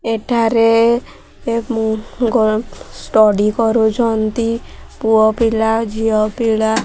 ଏଠାରେ ଉଁ ଷ୍ଟାଡି କରିଛନ୍ତି ପୁଅପିଲା ଝିଅପିଲା --